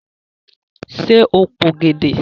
Ṣe o p'ògèdè?